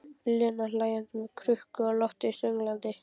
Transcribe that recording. Lena hlæjandi með krukkuna á lofti sönglandi